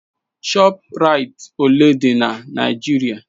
ShopRites ole dị na Nigeria?